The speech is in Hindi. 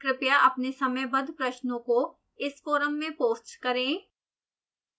कृपया अपने समयबद्ध प्रश्नों को इस फोरम में पोस्ट करें